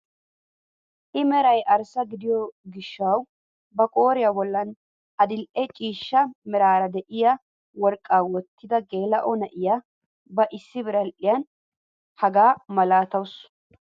I meray arssa gidiyoo gishshawu ba qooriyaa bolli adil"e ciishsha meraara de'iyaa worqqaa wottida geelaa"o na'iyaa ba issi biradhiyaan hegaa malatawus.